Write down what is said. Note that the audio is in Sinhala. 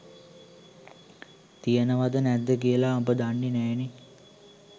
තියනවද නැද්ද කියලා උඹ දන්නෙ නෑනේ.